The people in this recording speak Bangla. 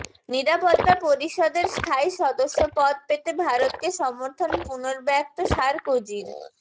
নিরাপত্তা পরিষদের স্থায়ী সদস্যপদ পেতে ভারতকে সমর্থন পুনর্ব্যক্ত সারকোজির